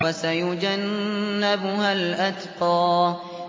وَسَيُجَنَّبُهَا الْأَتْقَى